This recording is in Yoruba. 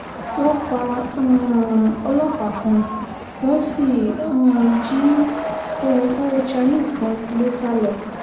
wọ́n pa um ọlọ́pàá kan wọ́n sì um jí òyìnbó chinese kan gbé sá lọ